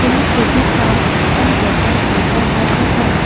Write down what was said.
এই ছবিখন এখন গেটৰ ভিতৰ ভাগৰ হয়।